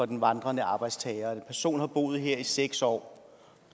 den vandrende arbejdstager en person har boet her i seks år og